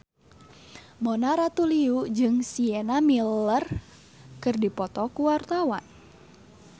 Mona Ratuliu jeung Sienna Miller keur dipoto ku wartawan